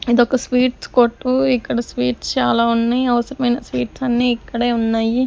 ఇదొక స్వీట్స్ కొట్టు ఇక్కడ స్వీట్స్ చాలా ఉన్నయ్ అవసరమైన స్వీట్స్ అన్ని ఇక్కడే ఉన్నాయి.